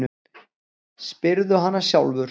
Spyrðu hana sjálfur.